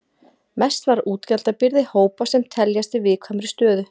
Mest var útgjaldabyrði hópa sem teljast í viðkvæmri stöðu.